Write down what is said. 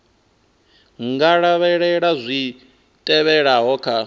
nga lavhelela zwi tevhelaho kha